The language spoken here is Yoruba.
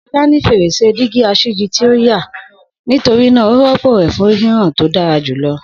Shola ni ferese dígí aṣíji ti o ya, nitorina o rọpo rẹ fun hihan to dara julọ.